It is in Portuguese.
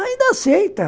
Ainda aceita.